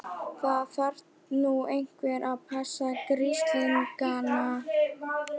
Það þarf nú einhver að passa grislingana.